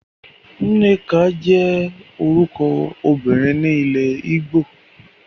Nneka jẹ́ orúkọ ọmọbìnrin ni ilẹ́ ìgbò.